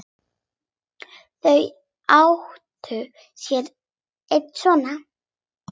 Þau áttu sér einn son.